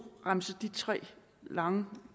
remse de tre lange